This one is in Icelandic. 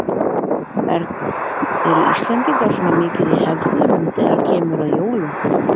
Erla: Eru Íslendingar svona mikið í hefðunum þegar kemur að jólum?